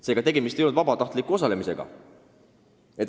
Seega, me ei hääletanud vabatahtliku osalemise poolt.